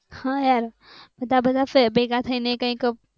હા યાર બધા બધા ભેગા થઈને કંઈક